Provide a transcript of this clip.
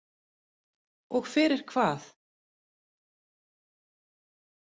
Og fyrir hvað?